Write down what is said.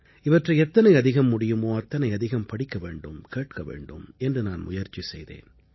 இவற்றை எத்தனை அதிகம் முடியுமோ அத்தனை அதிகம் படிக்க வேண்டும் கேட்க வேண்டும் என்று நான் முயற்சி செய்தேன்